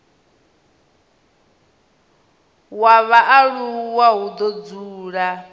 wa vhaaluwa hu do dzula